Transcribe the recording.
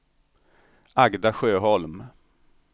Agda Sjöholm